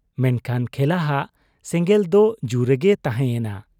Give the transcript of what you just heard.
ᱢᱮᱱᱠᱷᱟᱱ ᱠᱷᱮᱞᱟᱦᱟᱜ ᱥᱮᱸᱜᱮᱞ ᱫᱚ ᱡᱩ ᱨᱮᱜᱮ ᱛᱟᱦᱮᱸ ᱭᱮᱱᱟ ᱾